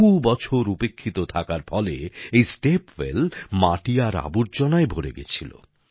বহু বছর উপেক্ষিত থাকার ফলে এই স্টেপ ওয়েল মাটি আর আবর্জনায় ভরে গেছিল